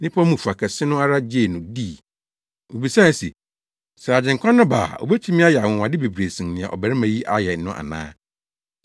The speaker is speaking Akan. Nnipa no mu fa kɛse no ara gyee no dii na wobisae se, “Sɛ Agyenkwa no ba a obetumi ayɛ anwonwade bebree sen nea ɔbarima yi ayɛ no ana?”